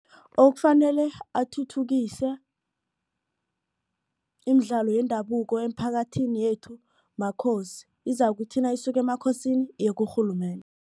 Okufanele athuthukise imidlalo yendabuko eemphakathini yethu makhosi izakuthi nayisuka emakhosini iyekurhulumende.